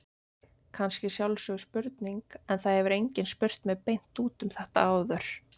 Kannski sjálfsögð spurning en það hefur enginn spurt mig beint út um þetta áður.